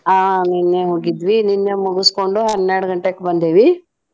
ಹಾ ನಿನ್ನೆ ಹೋಗಿದ್ವಿ ನಿನ್ನೆ ಮುಗಸ್ಕೊಂಡು ಹನ್ನೆರಡ್ ಗಂಟೆಕ್ ಬಂದೇವಿ.